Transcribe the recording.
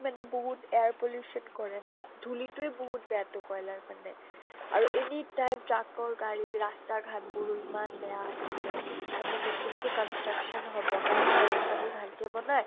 মানে বহুত air pollution কৰে না। ধূলিটোই বহুত বেয়া টো কয়্লাৰ মানে। আৰু any time truck ৰ গাড়ী ৰাস্তা ঘাত বোৰো ইমান বেয়া আছিলে। তাৰ মানে নতুন কে construction হব না। সেয়া ৰাস্তা বোৰ ভাল কে বনায়